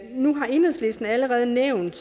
nu har enhedslisten allerede nævnt